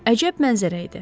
Əcəb mənzərə idi.